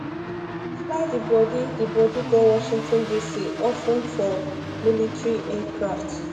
fly di bodi di bodi go um washington dc of ten for military aircraft